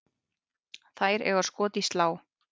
Þær eiga skot í slá.